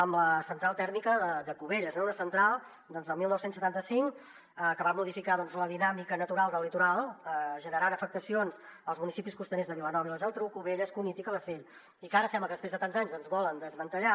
amb la central tèrmica de cubelles no una central del dinou setanta cinc que va modificar la dinàmica natural del litoral generant afectacions als municipis costaners de vilanova i la geltrú cubelles cunit i calafell i que ara sembla que després de tants anys volen desmantellar